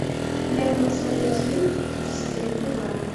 дай мне посмотреть фильм десятилетний план